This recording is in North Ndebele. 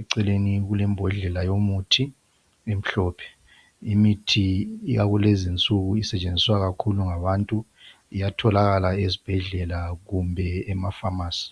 eceleni kulembodlela yomuthi emhlophe. Imithi yakulezi insuku isetshenziswa kakhulu ngabantu iyatholakala ezibhedlela kumbe emafamasi.